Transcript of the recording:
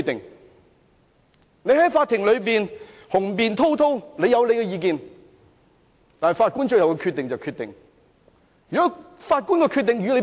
他可以在法庭內雄辯滔滔發表意見，但法官的決定才是最終決定。